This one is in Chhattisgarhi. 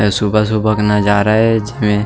सुबह-सुबह के नज़ारा ए जेमे--